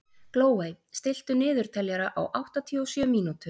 Glóey, stilltu niðurteljara á áttatíu og sjö mínútur.